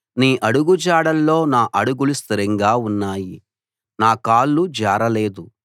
నీ అడుగుజాడల్లో నా అడుగులు స్థిరంగా ఉన్నాయి నా కాళ్ళు జారలేదు